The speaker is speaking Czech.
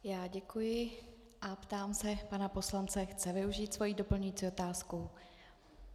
Já děkuji a ptám se pana poslance, chce využít svoji doplňující otázku.